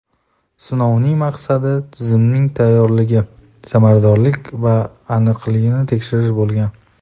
Sinovning maqsadi tizimning tayyorligi, samaradorligi va aniqligini tekshirish bo‘lgan.